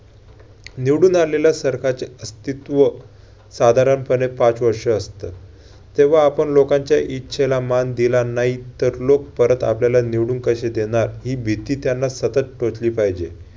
निवडून आलेल्या सरकारचे अस्तित्व साधारणपणे पाच वर्ष असते. तेव्हा आपण लोकांच्या इच्छेला मान दिला नाही तर लोक परत आपल्याला निवडून कशे देणार? ही भीता त्यांना सतत टोचली पाहिजे.